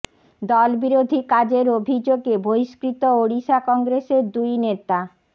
দল বিরোধী কাজের অভিযোগে বহিষ্কৃত ওড়িশা কংগ্রেসের দুই নেতা